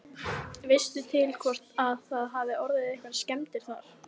Veistu til hvort að það hafi orðið einhverjar skemmdir þar?